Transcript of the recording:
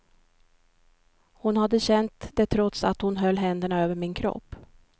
Hon hade känt det trots att hon höll händerna över min kropp.